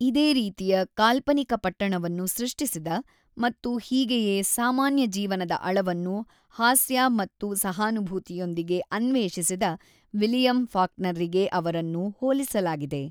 ಇದೇ ರೀತಿಯ ಕಾಲ್ಪನಿಕ ಪಟ್ಟಣವನ್ನು ಸೃಷ್ಟಿಸಿದ ಮತ್ತು ಹೀಗೇಯೇ ಸಾಮಾನ್ಯ ಜೀವನದ ಅಳವನ್ನು ಹಾಸ್ಯ ಮತ್ತು ಸಹಾನುಭೂತಿಯೊಂದಿಗೆ ಅನ್ವೇಷಿಸಿದ ವಿಲಿಯಂ ಫಾಕ್ನರ್‌ರಿಗೆ ಅವರನ್ನು ಹೋಲಿಸಲಾಗಿದೆ.